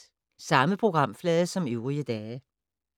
Samme programflade som øvrige dage